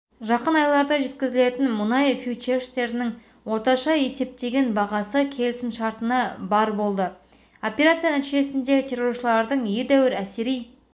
жақын айларда жеткізілетін мұнай фьючерстерінің орташа есептеген бағасы келісімшартына барр болды операция нәтижесінде терроршылардың едәуір әсери